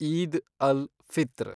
Eid al, Fitr